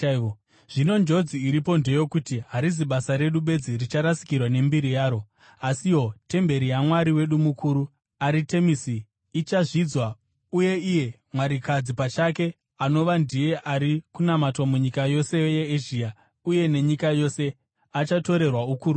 Zvino njodzi iripo ndeyokuti harizi basa redu bedzi richarasikirwa nembiri yaro, asiwo temberi yamwari wedu mukuru, Aritemisi, ichazvidzwa uye iye mwarikadzi pachake, anova ndiye ari kunamatwa munyika yose yeEzhia uye nenyika yose, achatorerwa ukuru hwake.”